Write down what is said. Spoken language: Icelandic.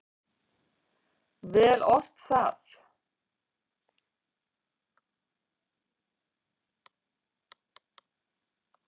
Vel ort það.